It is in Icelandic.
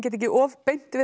ekki of beint við